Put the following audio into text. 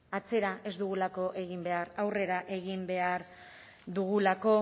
atzera ez dugulako egin behar aurrera egin behar dugulako